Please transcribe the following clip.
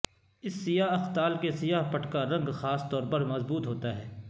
اس سیاہ اختال کے سیاہ پٹکا رنگ خاص طور پر مضبوط ہوتا ہے